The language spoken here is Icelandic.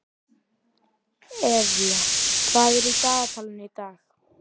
Evey, hvað er í dagatalinu í dag?